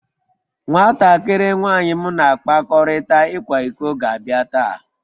Nwatakịrị nwanyị m na-akpakọrịta ịkwa iko ga-abịa taa